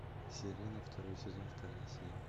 сирена второй сезон вторая серия